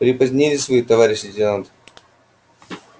припозднились вы товарищ лейтенант